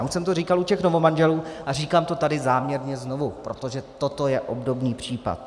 Já už jsem to říkal u těch novomanželů a říkám to tady záměrně znovu, protože toto je obdobný případ.